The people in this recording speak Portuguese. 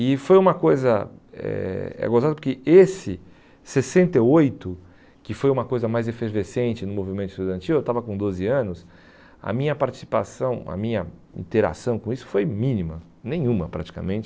E foi uma coisa, é é gostosa porque esse sessenta e oito, que foi uma coisa mais efervescente no movimento estudantil, eu estava com doze anos, a minha participação, a minha interação com isso foi mínima, nenhuma praticamente.